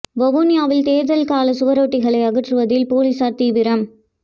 வவுனியாவில் தேர்தல் கால சுவரொட்டிகளை அகற்றுவதில் பொலிசார் தீவிரம்